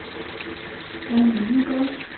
Danny Lindegaard